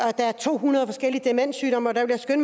at der er to hundrede forskelige demenssygdomme og der vil jeg